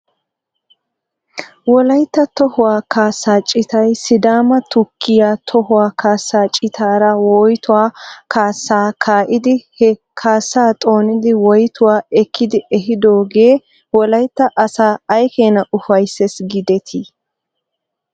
Wolaytta tohuwaa kaasaa citay sidaama tukkiyaa tohuwaa kaasaa citaara woytuwaa kaasaa kaa'idi he kaasaa xoonidi woytuwaa ekkidi ehidoogee wolaytta asaa ay keena ufayssis giidetii?